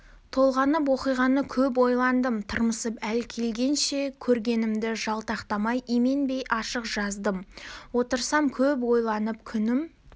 толғанып оқиғаны көп ойландым тырмысып әл келгенше көргенімді жалтақтамай именбей ашық жаздым отырсам көп ойланып күнім